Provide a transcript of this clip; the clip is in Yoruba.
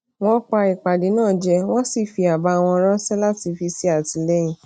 wọn pa ìpàdé náà je wọn sì fi aba won ránṣẹ láti fi ṣè àtìlẹyìn